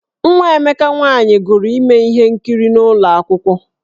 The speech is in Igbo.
Nwa Emeka nwaanyị gụrụ ime ihe nkiri n’ụlọ akwụkwọ.